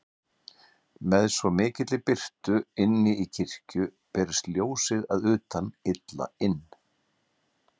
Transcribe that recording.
Með svo mikilli birtu inni í kirkju berist ljósið að utan illa inn.